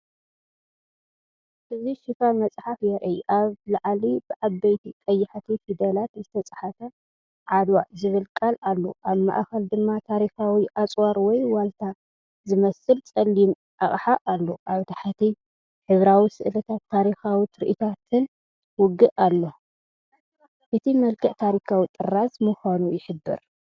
እዚ ሽፋን መጽሓፍ የርኢ። ኣብ ላዕሊ ብዓበይቲ ቀያሕቲ ፊደላት ዝተጻሕፈ"ዓድዋ"ዝብል ቃል ኣሎ። ኣብ ማእከል ድማ ታሪኻዊ ኣጽዋር ወይ ዋልታ ዝመስል ጸሊም ኣቕሓ ኣሎ። ኣብ ታሕቲ ሕብራዊ ስእልታት ታሪኻዊ ትርኢታት ውግእ ኣሎ። እቲ መልክዕ ታሪኻዊ ጥራዝ ምዃኑ ይሕብር።